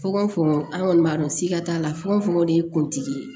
Fukonfukon an kɔni b'a dɔn sikatanla fogofogo de ye kuntigi ye